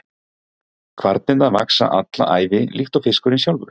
Kvarnirnar vaxa alla ævi líkt og fiskurinn sjálfur.